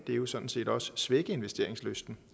det jo sådan set også svække investeringslysten